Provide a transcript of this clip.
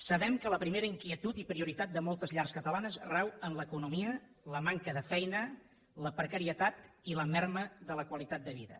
sabem que la primera inquietud i prioritat de moltes llars catalanes rau en l’economia la manca de feina la precarietat i la minva de la qualitat de vida